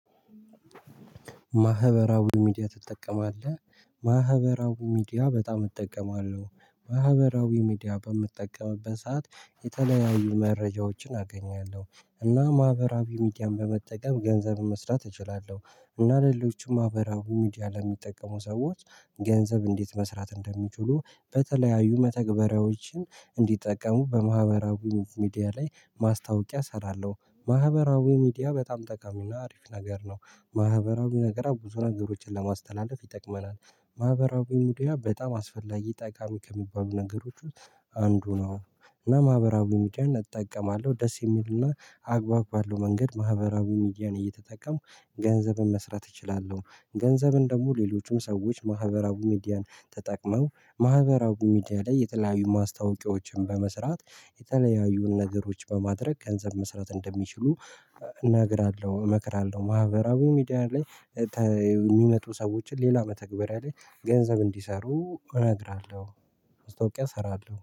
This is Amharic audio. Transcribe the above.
ማህበራዊ ሚዲያ ትጠቀማለህ? ማህበራዊ ሚዲያ በጣም እጠቀማለሁ። ማህበራዊ ሚዲያ በምትጠቀምበት ሰዓት የተለያዩ መረጃዎችን አገኛለሁ እና ማህበራዊ ሚዲያን በመጠቀም ገንዘብ መስራት እችላለሁ። እና ለሌሎችም ማህበራዊ ሚዲያ ለሚጠቀሙ ሰዎች ገንዘብ እንዴት መስራት እንደሚችሉ በተለያዩ መተግበሪያዎችን እንዲጠቀሙ በማህበራዊ ሚዲያ ላይ ማስታወቂያ እሰራለሁ ማህበራዊ ሚዲያ በጣም ጠቃሚና አሪፍ ነገር ነው። ማህበራዊ ነገር ብዙ ነገሮችን ለማስተላለፍ ይጠቅመናል። ማህበራዊ ሚዲያ በጣም አስፈላጊ ጠቃሚ ከሚባሉ ነገሮች አንዱ ነው። እና ማህበራዊ ሙጫን እጠቀማለሁ ደስ የሚልና አግባብ ባለው መንገድ ማህበራዊ ሚዲያን እየተጠቀምኩ ገንዘብን መስራት እችላለሁ። ገንዘብን ደግሞ ሌሎችም ሰዎች ማህበራዊ ሚዲያን ተጠቅመው ማህበራዊ ሚዲያ ላይ የተለያዩ ማስታወቂያዎችን በመስራት የተለያዩ ነገሮች በማድረግ ገንዘብ መስራት እንደሚችሉ እናግራለሁ እመክራለሁ ማህበራዊ ሚዲያ ላይ የሚመጡ ሰዎችን ሌላ መተግበሪያ ላይ ገንዘብ እንዲሰሩ እነግራለሁ። ማስታውቂያ እሰራለሁ